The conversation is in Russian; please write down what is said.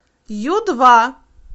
ю два